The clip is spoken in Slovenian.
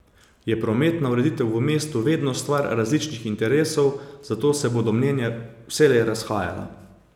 Kot je po seji dejal župan Miran Senčar, je prometna ureditev v mestu vedno stvar različnih interesov, zato se bodo mnenja vselej razhajala.